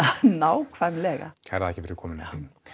nákvæmlega kærar þakkir fyrir komuna Hlín